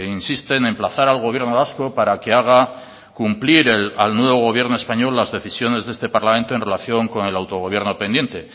insiste en emplazar al gobierno vasco para que haga cumplir al nuevo gobierno español las decisiones de este parlamento en relación con el autogobierno pendiente